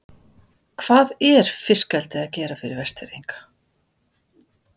Hvað er fiskeldið að gera fyrir Vestfirðinga?